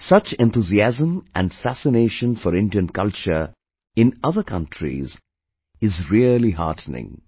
Such enthusiasm and fascination for Indian culture in other countries is really heartening